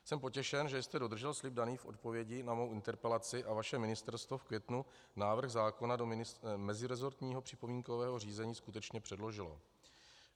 Jsem potěšen, že jste dodržel slib daný v odpovědi na mou interpelaci a vaše Ministerstvo v květnu návrh zákona do meziresortního připomínkového řízení skutečně předložilo.